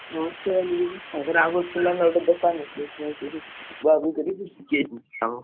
ହାଁ ସିଏ ଶିଖି ଯାଇଛନ୍ତି କାମ।